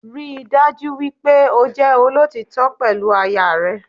Ríi dájú wípé o jẹ́ olótítọ́ pẹ̀lú aya rẹ